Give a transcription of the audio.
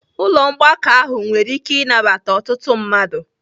Ụlọ mgbakọ ahụ nwere ike ịnabata ọtụtụ mmadụ